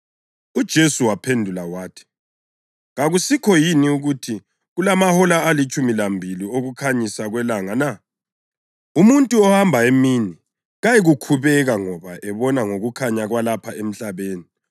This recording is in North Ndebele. UJesu waphendula wathi, “Kakusikho yini ukuthi kulamahola alitshumi lambili okukhanyisa kwelanga na? Umuntu ohamba emini kayikukhubeka ngoba ebona ngokukhanya kwalapha emhlabeni.